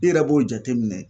I yɛrɛ b'o jateminɛ